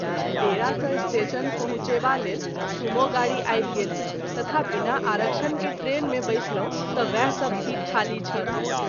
डेरा सँ स्टेशन पहुँचेबा लेल सूमो गाड़ी आबि गेल तथा बिना आरक्षण के ट्रेन मे बैसलहुँ त वएह सभ सीट ख़ाली छल।